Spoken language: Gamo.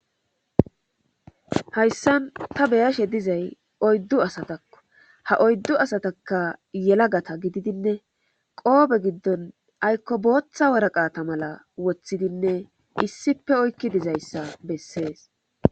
Hayssan ta beyashe dizay oyddu asatakko ha oyddu asataka yelagata gididinne qoobe giddon aykko booththa waraqata mala woththidinne issipe oykki dizayssa bessees.